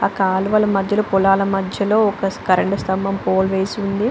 ఆ కాలువల మధ్యలో పొలాల మధ్యలో ఒక కరెంటు స్తంబం పోలు వేసి ఉంది.